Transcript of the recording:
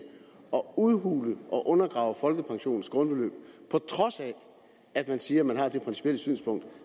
udhule og undergrave folkepensionens grundbeløb på trods af at man siger at man har det principielle synspunkt